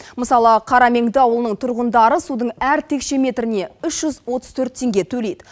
мысалы қарамеңді ауылының тұрғындары судың әр текше метріне үш жүз отыз төрт теңге төлейді